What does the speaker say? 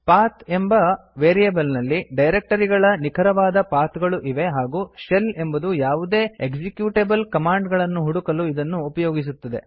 path ಎಂಬ variable ನಲ್ಲಿ directory ಗಳ ನಿಖರವಾದ ಪಾಥ್ ಗಳು ಇವೆ ಹಾಗೂ ಶೆಲ್ ಎಂಬುದು ಯಾವುದೇ ಎಕ್ಸಿಕ್ಯೂಟೇಬಲ್ ಕಮಾಂಡ್ ಗಳನ್ನು ಹುಡುಕಲು ಇದನ್ನು ಉಪಯೋಗಿಸುತ್ತದೆ